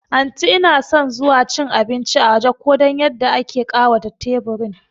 Anti inason zuwa cin abinci a waje ko dan yadda ake ƙawata teburin